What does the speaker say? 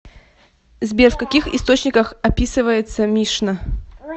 сбер в каких источниках описывается мишна